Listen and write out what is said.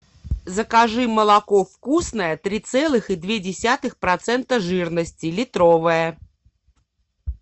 закажи молоко вкусное три целых и две десятых процента жирности литровое